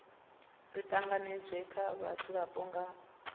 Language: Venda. ri tanganedzwe nga vhadzulapo nga